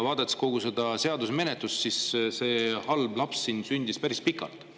Vaadates kogu selle seaduse menetlust, siis see halb laps sündis siin päris pikalt.